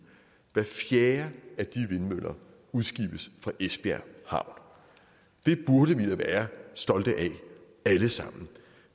hver fjerde af de vindmøller udskibes fra esbjerg havn det burde vi da være stolte af alle sammen